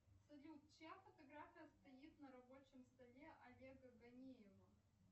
салют чья фотография стоит на рабочем столе олега гонеева